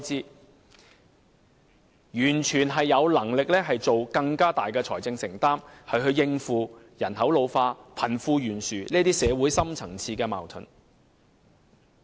政府完全有能力作出更大的財政承擔，應付人口老化、貧富懸殊等社會深層次矛盾。